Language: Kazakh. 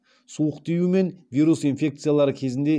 суық тию мен вирус инфекциялары кезінде